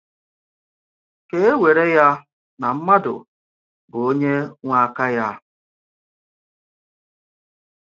Kà e wèrè ya na mmádụ bụ onye nwe aka ya.